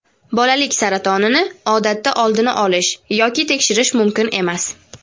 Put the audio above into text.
Bolalik saratonini odatda oldini olish yoki tekshirish mumkin emas.